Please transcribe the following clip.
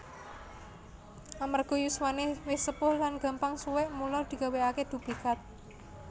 Amarga yuswane wis sepuh lan gampang suwek mula digawékake duplikat